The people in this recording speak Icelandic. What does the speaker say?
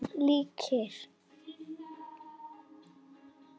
Við vorum líkir.